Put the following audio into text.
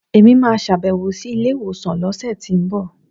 Èmi máa sàbẹ̀wò sí ilé ìwòsàn lọ́sẹ̀tínbọ̀